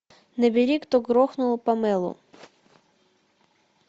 набери кто грохнул памелу